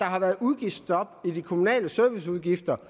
har været udgiftsstop i de kommunale serviceudgifter